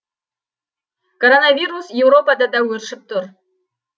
коронавирус еуропада да өршіп тұр